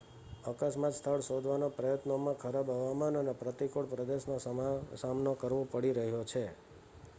અકસ્માત સ્થળ શોધવાના પ્રયત્નોમાં ખરાબ હવામાન અને પ્રતિકૂળ પ્રદેશનો સામનો કરવો પડી રહ્યો છે